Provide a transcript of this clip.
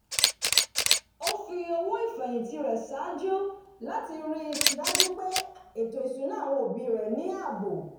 ó fi owó ìfẹ̀yìnti rẹ̀ ṣáájú láti rí i dájú pé ètò ìṣúná àwọn òbí rẹ̀ ní ààbò